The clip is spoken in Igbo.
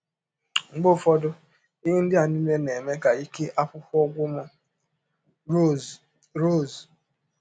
Mgbe ụfọdụ, ihe ndị a niile na - eme ka ike akwụkwọ gwụ m. ”— Rọse Rọse.